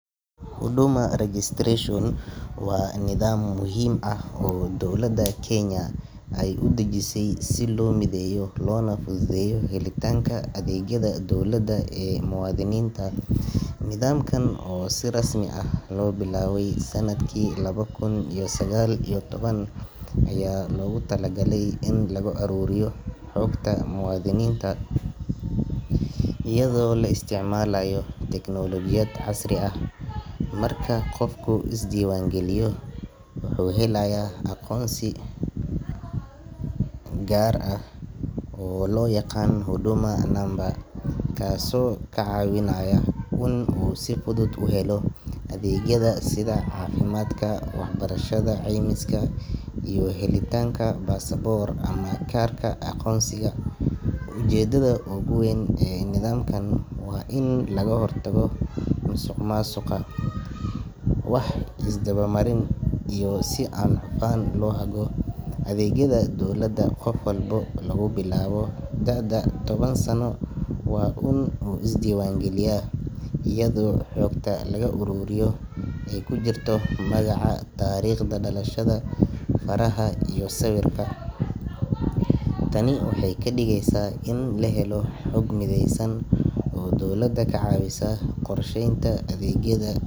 Huduma registration waa nidaam muhiim ah oo dowladda Kenya ay u dejisay si loo mideeyo loona fududeeyo helitaanka adeegyada dowladda ee muwaadiniinta. Nidaamkan oo si rasmi ah loo bilaabay sanadkii laba kun iyo sagaal iyo toban ayaa loogu talagalay in lagu ururiyo xogta muwaadiniinta iyadoo la isticmaalayo tiknoolajiyad casri ah. Marka qofku is diiwaan geliyo, wuxuu helayaa aqoonsi gaar ah oo loo yaqaan Huduma Namba, kaasoo ka caawinaya in uu si fudud u helo adeegyada sida caafimaadka, waxbarashada, caymiska, iyo helitaanka baasaboor ama kaarka aqoonsiga. Ujeedada ugu weyn ee nidaamkan waa in laga hortago musuqmaasuqa, wax is daba marin, iyo in si hufan loo hago adeegyada dowladda. Qof walba laga bilaabo da’da toban sano waa in uu is diiwaan geliyaa, iyadoo xogta laga ururiyo ay ku jirto magaca, taariikhda dhalashada, faraha, iyo sawirka. Tani waxay ka dhigeysaa in la helo xog mideysan oo dowladda ka caawisa qorsheynta adeegyada.